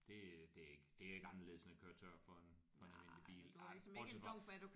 Det øh det er ikke det er ikke anderledes end at køre tør for en for en almindelig bil altså bortset fra